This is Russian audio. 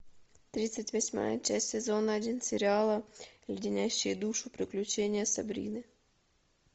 тридцать восьмая часть сезона один сериала леденящие душу приключения сабрины